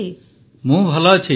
ପ୍ରଧାନମନ୍ତ୍ରୀ ମୁଁ ଭଲ ଅଛି